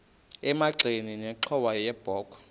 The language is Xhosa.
emagxeni nenxhowa yebokhwe